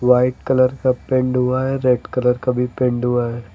White colour का paint हुआ है रेड कलर का भी पेंड हुआ है।